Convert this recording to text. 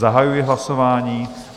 Zahajuji hlasování.